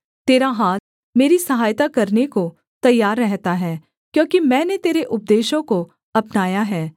तेरा हाथ मेरी सहायता करने को तैयार रहता है क्योंकि मैंने तेरे उपदेशों को अपनाया है